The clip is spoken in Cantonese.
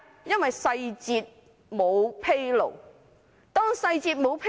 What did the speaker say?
因為細節沒有披露。